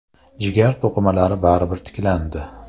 Jigar to‘qimalari baribir tiklandi.